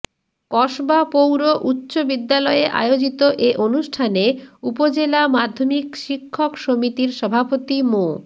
কসবা পৌর উচ্চ বিদ্যালয়ে আয়োজিত এ অনুষ্ঠানে উপজেলা মাধ্যমিক শিক্ষক সমিতির সভাপতি মো